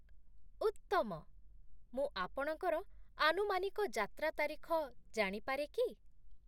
ଉତ୍ତମ! ମୁଁ ଆପଣଙ୍କର ଆନୁମାନିକ ଯାତ୍ରା ତାରିଖ ଜାଣିପାରେ କି?